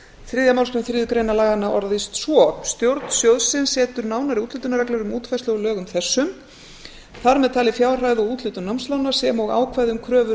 þriðju málsgrein þriðju greinar laganna orðast svo stjórn sjóðsins setur nánari úthlutunarreglur um útfærslu á lögum þessum þar með talin fjárhæð og úthlutun námslána sem og ákvæði um kröfur